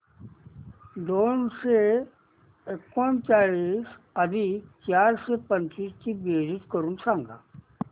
दोनशे एकोणचाळीस अधिक चारशे पंचवीस ची बेरीज करून सांगा